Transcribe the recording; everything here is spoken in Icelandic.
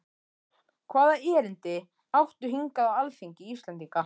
Hvaða erindi áttu hingað á alþingi Íslendinga?